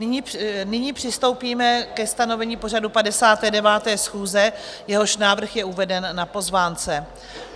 Nyní přistoupíme ke stanovení pořadu 59. schůze, jehož návrh je uveden na pozvánce.